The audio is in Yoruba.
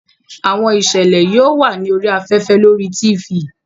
Àwọn ìṣẹ̀lẹ̀ yóò wà ní orí afẹ́fẹ́ lórí Tifì